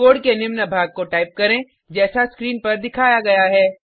code के निम्न भाग को टाइप करें जैसा स्क्रीन पर दिखाया गया है